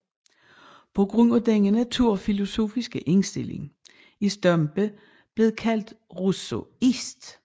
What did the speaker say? På grund af denne naturfilosofiske indstilling er Stampe blevet kaldt rousseauist